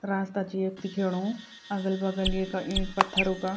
रास्ता च यख दिखेणु अगल बगल येका ईंट पथ्थरो का --